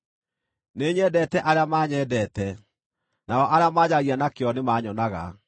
Nĩnyendete arĩa manyendete, nao arĩa manjaragia na kĩyo nĩmanyonaga.